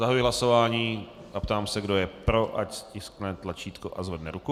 Zahajuji hlasování a ptám se, kdo je pro, ať stiskne tlačítko a zvedne ruku.